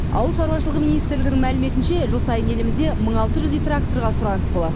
ауыл шаруашылығы министрлігінің мәліметінше жыл сайын елімізде мың алты жүздей тракторға сұраныс болады